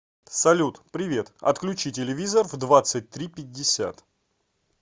салют привет отключи телевизор в двадцать три пятьдесят